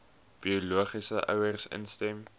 biologiese ouers instem